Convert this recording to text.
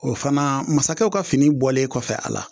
O fana masakɛw ka fini bɔlen kɔfɛ a la